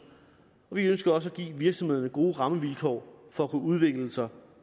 vi ønsker også at give virksomhederne gode rammevilkår for at kunne udvikle sig